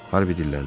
Harvi dilləndi.